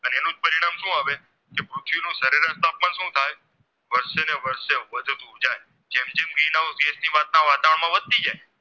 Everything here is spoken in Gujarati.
વધતી જાય